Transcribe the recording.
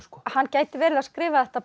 hann gæti verið að skrifa þetta